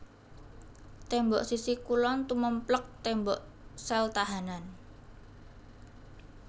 Tembok sisi kulon tumèmplèk tembok sel tahanan